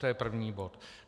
To je první bod.